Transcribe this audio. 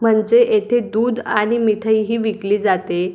म्हणजे येथे दूध आणि मिठाईही विकली जाते.